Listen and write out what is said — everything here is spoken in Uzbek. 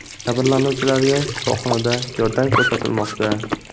Jabrlanuvchilarga shifoxonada yordam ko‘rsatilmoqda.